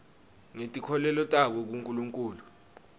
ngetinkholelo tabo kunkulunkhulu